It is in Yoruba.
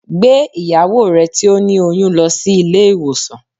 Gbé ìyàwó rẹ tí ó ní oyún lọ sí ilé ìwòsàn